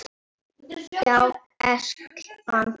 Já, elskan.